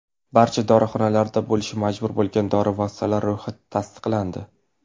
Barcha dorixonalarda bo‘lishi majburiy bo‘lgan dori vositalari ro‘yxati tasdiqlandi.